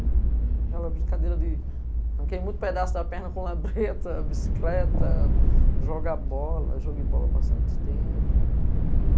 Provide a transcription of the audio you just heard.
Aquela brincadeira de arranquei muito pedaço da perna com labreta, bicicleta, joga bola, joguei bola há bastante tempo.